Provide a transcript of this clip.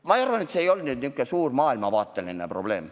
Ma arvan, et see ei olnud selline suur maailmavaateline probleem.